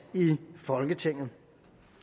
i folketinget